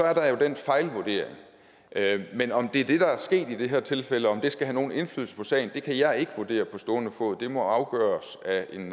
er der jo en fejlvurdering men om det er det der er sket i det her tilfælde og om det skal have nogen indflydelse på sagen kan jeg ikke vurdere på stående fod det må afgøres af en